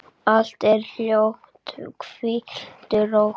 Allt er hljótt, hvíldu rótt.